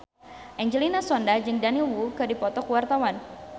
Angelina Sondakh jeung Daniel Wu keur dipoto ku wartawan